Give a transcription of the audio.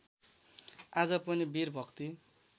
आज पनि वीर भक्ति